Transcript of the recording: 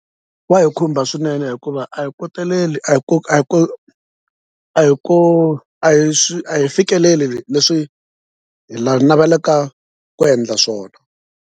Wa hi khumba swinene hikuva a hi koteleli a hi a hi a hi ku a hi a hi fikeleli leswi hi la navelaka ku endla swona.